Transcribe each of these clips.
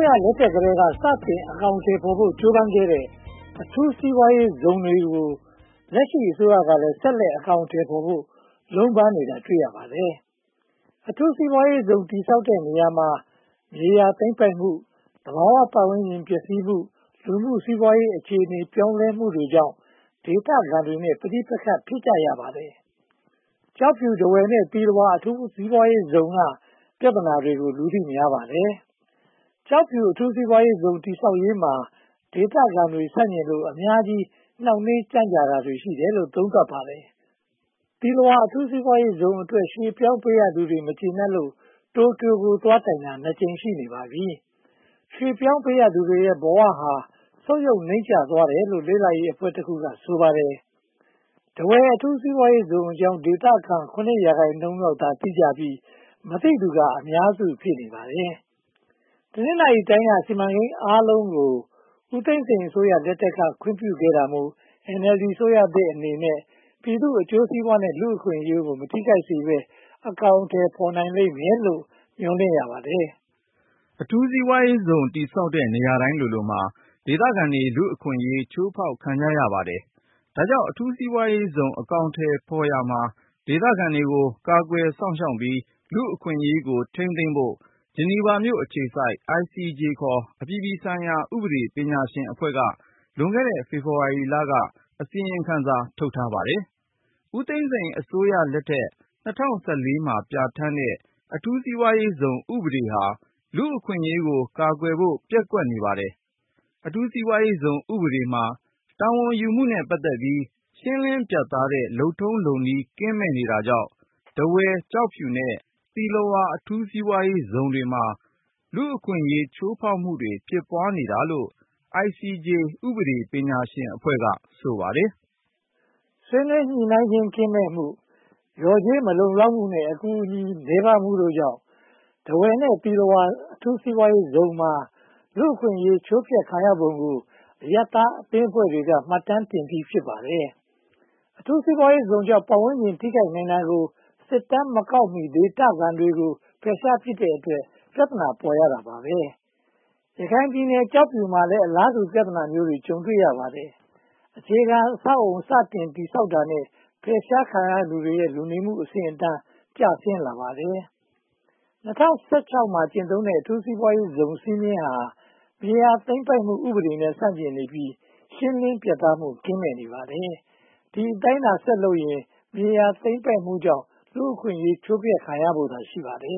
းရလက်ထက်ကတည်းက စတင်အကောင်အထည်ဖော်ဖို့ ကြိုးပမ်းခဲ့တဲ့ အထူးစီးပွားရေးဇုန်တွေကို လက်ရှိအစိုးရကလည်း ဆက်လက်အကောင်အထည်ဖော်ဖို့ လုံးပန်းနေတာတွေ့ရပါတယ်။ အထူးစီးပွားရေးဇုန် တည်ဆောက်တဲ့နေရာမှာ မြေယာသိမ်းပိုက်မှု၊ သဘာဝပတ်ဝန်းကျင်ပျက်စီးမှု၊ လူမှုစီးပွားရေးအခြေအနေ ပြောင်းလဲမှုတွေကြောင့် ဒေသခံတွေနဲ့ ပဋိပက္ခ ဖြစ်ကြရပါတယ်။ ကျောက်ဖြူ၊ ထားဝယ်နဲ့ သီလဝါ အထူးစီးပွားရေးဇုန်က ပြဿနာတွေကို လူသိများပါတယ်။ ကျောက်ဖြူအထူးစီးပွားရေးဇုန် တည်ဆောက်ရေးမှာ ဒေသခံတွေ ဆန့်ကျင်လို့ အများကြီး နှောင့်နှေးကြန့်ကြတာရှိတယ်လို့ သုံးသပ်ပါတယ်။ သီလဝါ အထူးစီးပွားရေးဇုန်အတွက် ရွှေ့ပြောင်းပေးရသူတွေ မကျေနပ်လို့ တိုကျိုကို သွားတိုင်တာ နှစ်ကြိမ်ရှိနေပါပြီ။ ရွှေ့ပြောင်းသူပေးရသူတွေရဲ့ ဘဝဟာ ဆုတ်ယုတ်နိမ့်ကျသွားတယ်လို့ လေ့လာရေးအဖွဲ့တခုက ဆိုပါတယ်။ ထားဝယ်အထူးစီးပွားရေးဇုန်အကြောင်း ဒေသခံ (၇) ရာခိုင်နှုန်းလောက်သာ သိကြပြီး၊ မသိသူက အများစု ဖြစ်နေပါတယ်။ တနင်္သာရီတိုင်းက စီမံကိန်းအားလုံးကို ဦးသိန်းစိန်အစိုးရလက်ထက်က ခွင့်ပြုတာမို့ NLD အစိုးရသစ်အနေနဲ့ ပြည်သူ့အကျိုးစီးပွားနဲ့ လူ့အခွင့်အရေးကို မထိခိုက်စေဘဲ အကောင်အထည် ဖော်နိုင်လိမ့်မယ်လို့ မျှော်လင့်ရပါတယ်။ အထူးစီးပွားရေးဇုန် တည်ဆောက်တဲ့ နေရာတိုင်းလိုလိုမှာ ဒေသခံတွေ လူ့အခွင့်အရေး ဖျက်ဆီးခံကြရပါတယ်။ ဒါကြောင့် အထူးစီးပွားရေးဇုန် အကောင်အထည်ဖော်ရာမှာ ဒေသခံတွေကို ကာကွယ်စောင့်ရှောက်ပြီး လူ့အခွင့်အရေးကို ထိန်းသိမ်းဖို့ ဂျနီဗာအခြေစိုက် ICJ ခေါ် အပြည်ပြည်ဆိုင်ရာ ဥပဒေပညာရှင်အဖွဲ့က လွန်ခဲ့တဲ့ ဖေဖေါ်ဝါရီလက အစီရင်ခံစာ ထုတ်ထားပါတယ်။ ဦးသိန်းစိန်အစိုးရလက်ထက် (၂၀၁၄) မှာ ပြဌာန်းတဲ့ အထူးစီးပွားရေးဇုန် ဥပဒေဟာ လူ့အခွင့်အရေးကို ကာကွယ်ဖို့ ပျက်ကွက်နေပါတယ်။ အထူးစီးပွားရေးဇုန် ဥပဒေမှာ တာဝန်ယူမှုနဲ့ ပတ်သက်ပြီး ရှင်းလင်းပြတ်သားတဲ့ လုပ်ထုံးလုပ်နည်း ကင်းမဲ့နေတာကြောင့် ထားဝယ်၊ ကျောက်ဖြူ နဲ့ သီလဝါ အထူးစီးပွားရေးဇုန်တွေမှာ လူ့အခွင့်အရေး ချိုးဖျက်မှုတွေ ဖြစ်ပွားနေတာလို့ ICJ ဥပဒေပညာရှင်အဖွဲ့က ဆိုပါတယ်။ ဆွေးနွေးညှိနှိုင်းခြင်း ကင်းမဲ့မှု၊ လျော်ကြေးမလုံလောက်မှု နဲ့ အကူအညီ နည်းပါးမှုတို့ကြောင့် ထားဝယ် နဲ့ သီလဝါ အထူးစီးပွားရေးဇုန်မှာ လူ့အခွင့်အရေး ချိုးဖျက်ခံရပုံကို အရပ်သားအသင်းဖွဲ့တွေက မှတ်တမ်းတင်ပြီး ဖြစ်ပါတယ်။ အထူးစီးပွားရေးဇုန်ကြောင့် ပတ်ဝန်းကျင် ထိခိုက်နိုင်တာကို စစ်တမ်းမကောက်မီ ဒေသခံတွေကို ဖယ်ရှားပစ်တဲ့အတွက် ပြဿနာ ပေါ်ရတာပါ။ ရခိုင်ပြည်နယ် ကျောက်ဖြူမှာလည်း အလားတူ ပြဿနာမျိုးကို ကြုံတွေ့ရပါတယ်။ အခြေခံအဆောက်အအုံ စတင်တည်ဆောက်တာနဲ့ ဖယ်ရှားခံရသူတွေရဲ့ လူနေမှုအဆင့်အတန်း ကျဆင်းလာပါတယ်။ ၂၀၁၆ မှာ ကျင့်သုံးတဲ့ အထူးစီးပွားရေးဇုန် စည်းမျဉ်းဟာ မြေယာသိမ်းပိုက်မှု ဥပဒေနဲ့ ဆန့်ကျင်နေပြီး ရှင်းလင်းပြတ်သားမှု ကင်းမဲ့နေပါတယ်။ ဒီအတိုင်းသာ ဆက်လုပ်နေရင် မြေယာသိမ်းပိုက်မှုကြောင့် လူ့အခွင့်အရေး ချိုးဖျက်ခံရဖို့သာ ရှိပါတယ်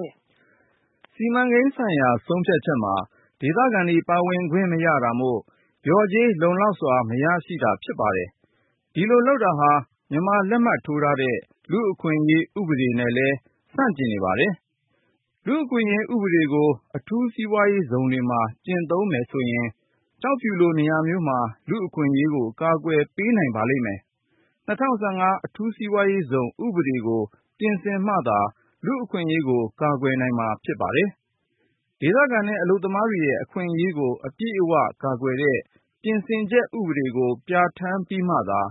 ။ စီမံကိန်းဆိုင်ရာ ဆုံးဖြတ်ချက်မှာ ဒေသခံတွေ ပါဝင်ခွင့်မရတာမို့ လျော်ကြေးလုံလောက်စွာ မရရှိတာ ဖြစ်ပါတယ်။ ဒီလိုလုပ်တာဟာ မြန်မာလက်မှတ်ထိုးထားတဲ့ လူ့အခွင့်အရေး ဥပဒေနဲ့လည်း ဆန့်ကျင်နေပါတယ်။ လူ့အခွင့်အရေး ဥပဒေကို အထူးစီးပွားရေးဇုန်တွေမှာ ကျင့်သုံးမယ်ဆိုရင် ကျောက်ဖြူလို နေရာမျိုးမှာ လူ့အခွင့်အရေးကို ကာကွယ်ပေးနိုင်ပါလိမ့်မယ်။ ၂၀၁၅ အထူးစီးပွားရေးဇုန် ဥပဒေကို ပြင်ဆင်မှသာ လူ့အခွင့်အရေးကို ကာကွယ်နိုင်မှာ ဖြစ်ပါတယ်။ ဒေသခံနဲ့ အလုပ်သမားတွေရဲ့ အခွင့်အရေးကို အပြည့်အဝကာကွယ်တဲ့ ပြင်ဆင်ချက်ဥပဒေကို ပြဌာန်းပြီးမှသာ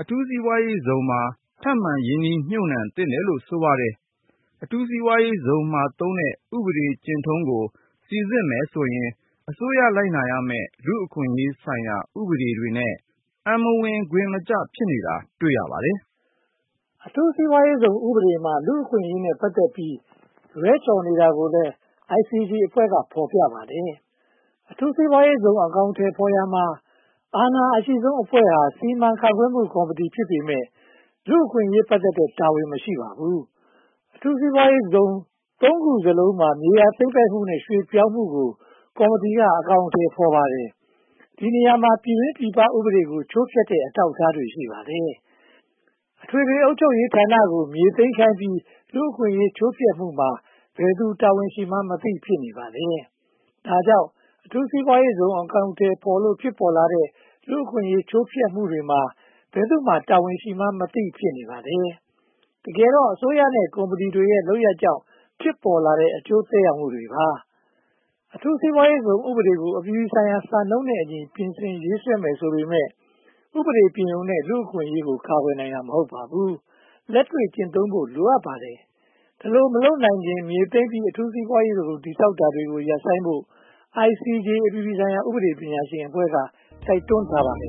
အထူးစီးပွားရေးဇုန်မှာ ထပ်မံရင်းနှီးမြုပ်နံှသင့်တယ်လို့ ဆိုပါတယ်။ အထူးစီးပွားရေးဇုန်မှာသုံးတဲ့ ဥပဒေကျင့်ထုံးကို စီစစ်မယ်ဆိုရင် အစိုးရလိုက်နာရမယ့် လူ့အခွင့်အရေးဆိုင်ရာ ဥပဒေတွေနဲ့ အံမဝင်ခွင်မကျ ဖြစ်နေတာ တွေ့ရပါတယ်။ အထူးစီးပွားရေးဇုန် ဥပဒေမှာ လူ့အခွင့်အရေးနဲ့ ပတ်သက်ပြီး လွှဲချော်နေတာကိုလည်း ICJ အဖွဲ့က ဖော်ပြပါတယ်။ အထူးစီးပွားရေးဇုန် အကောင်အထည်ဖော်ရာမှာ အာဏာအရှိဆုံးအဖွဲ့ဟာ စီမံခန့်ခွဲမှုကော်မတီ ဖြစ်ပေမယ့် လူ့အခွင့်အရေးနဲ့ ပတ်သက်တဲ့တာဝန် မရှိပါဘူး။ အထူးစီးပွားရေးဇုန် (၃) ခုစလုံးမှာ မြေယာသိမ်းပိုက်မှုနဲ့ ရွှေ့ပြောင်းမှုကို ကော်မတီက အကောင်အထည် ဖော်ပါတယ်။ ဒီနေရာမှာ ပြည်တွင်းပြည်ပ ဥပဒေတွေကို ချိုးဖျက်တဲ့ အထောက်အထားတွေ ရှိပါတယ်။ အထွေထွေ အုပ်ချုပ်ရေးဌာနကို မြေသိမ်းခိုင်းပြီး လူ့အခွင့်အရေး ချိုးဖျက်မှုမှာ ဘယ်သူတာဝန်ရှိမှန်းမသိ ဖြစ်နေပါတယ်။ ဒါကြောင့် အထူးစီးပွားရေးဇုန် အကောင်အထည်ဖော်လို့ ဖြစ်ပေါ်လာတဲ့ လူ့အခွင့်အရေး ချိုးဖျက်မှုတွေမှာ ဘယ်သူမှာ တာဝန်ရှိမှန်းမသိ ဖြစ်နေပါတယ်။ တကယ်တော့ အစိုးရနဲ့ ကုမ္ပဏီတွေရဲ့ လုပ်ရပ်ကြောင့် ဖြစ်ပေါ်လာတဲ့ အကျိုးသက်ရောက်မှုတွေပါ။ အထူးစီးပွားရေးဇုန်ဥပဒေကို အပြည်ပြည်ဆိုင်ရာ စံနှုန်းနဲ့အညီ ပြင်ဆင်ရေးဆွဲရမယ် ဆိုပေမယ့် ဥပဒေပြင်ရုံနဲ့ လူ့အခွင့်အရေး ကာကွယ်နိုင်တာ မဟုတ်ပါဘူး။ လက်တွေ့ကျင့်သုံးဖို့ လိုအပ်ပါတယ်။ ဒီလို မလုပ်နိုင်ခင်မှာ မြေသိမ်းပြီး အထူးစီးပွားရေးဇုန် တည်ဆောက်တာတွေ ရပ်ဆိုင်းဖို့ ICJ အပြည်ပြည်ဆိုင်ရာ ဥပဒေပညာရှင်အဖွဲ့က တိုက်တွန်းထားပါတယ်